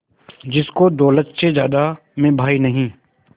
जिसको दौलत से ज्यादा मैं भाई नहीं